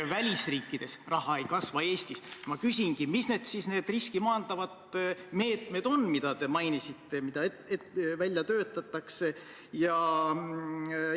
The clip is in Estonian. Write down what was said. Ma kindlasti ei hakka välja tooma, mitu sinimustvalget oli pildil ühe, teise või kolmanda peaministri ajal, aga ma mäletan, et seal oli Andrus Ansipi mitu valitsust, Taavi Rõivase valitsus, Jüri Ratase valitsused.